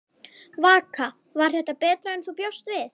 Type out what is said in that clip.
Vaka: Var þetta betra en þú bjóst við?